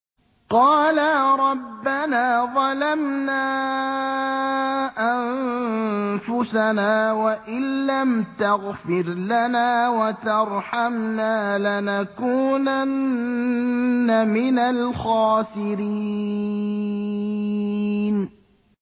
قَالَا رَبَّنَا ظَلَمْنَا أَنفُسَنَا وَإِن لَّمْ تَغْفِرْ لَنَا وَتَرْحَمْنَا لَنَكُونَنَّ مِنَ الْخَاسِرِينَ